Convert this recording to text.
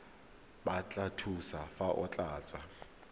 batla thuso fa o tlatsa